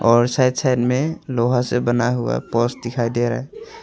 और side side में लोहा से बना हुआ पोल दिखाई दे रहा है।